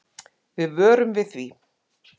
Við vörum við því.